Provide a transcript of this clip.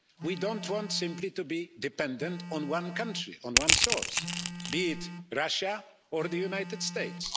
We don't want simply to be dependent on one country, on one source, be it Russia or the United States.